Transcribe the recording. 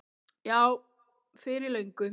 Já, fyrir löngu.